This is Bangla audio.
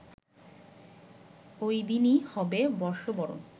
ওইদিনই হবে বর্ষবরণ